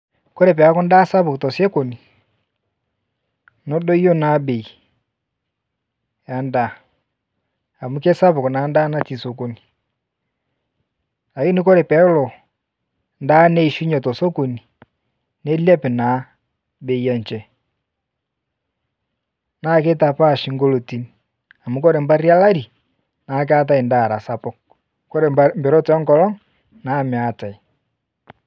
Ore pee ekuu endaa sapuk too sokoni nedoyuo naa bei endaa amu kisapuk naa endaa natii sokoni kake ore pee edoyio endaa neyiashunye too sokoni nilep naa bei enye naa kitapash amu ore baat olari naa keetae endaa sapuk ore tenkolog naa meetae